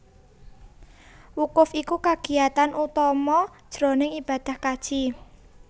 Wukuf iku kagiatan utama jroning ibadah kaji